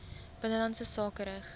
binnelandse sake rig